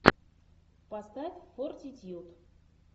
поставь фортитьюд